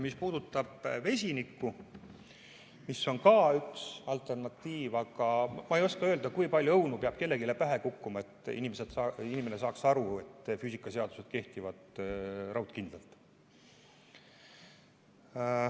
Mis puudutab vesinikku, mis on ka üks alternatiive, siis ma ei oska öelda, kui palju õunu peab kellelegi pähe kukkuma, et inimene saaks aru, et füüsikaseadused kehtivad raudkindlalt.